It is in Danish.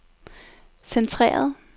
centreret